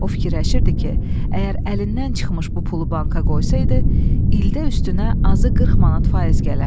O fikirləşirdi ki, əgər əlindən çıxmış bu pulu banka qoysaydı, ildə üstünə azı 40 manat faiz gələrdi.